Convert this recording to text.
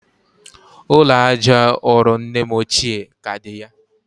ụlọ aja ụrọ nne m ochie ka dị ya.